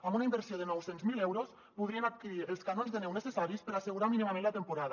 amb una inversió de nou cents miler euros podrien adquirir els canons de neu necessaris per assegurar mínimament la temporada